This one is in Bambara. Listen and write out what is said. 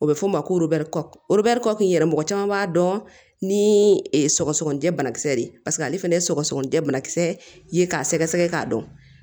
O bɛ fɔ o ma ko yɛrɛ mɔgɔ caman b'a dɔn ni sɔgɔsɔgɔnijɛ banakisɛ de ye paseke ale fana ye sɔgɔsɔgɔninjɛ bana kisɛ ye k'a sɛgɛsɛgɛ k'a dɔn